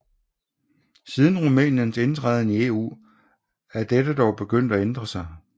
Siden Rumæniens indtræden i EU er dette dog begyndt at ændre sig